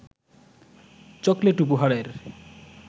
chocolate উপহারের